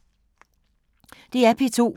DR P2